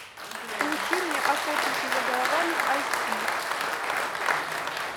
включи мне охотники за головами айч ди